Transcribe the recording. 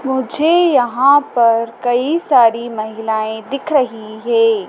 मुझे यहां पर कई सारी महिलाएं दिख रही है।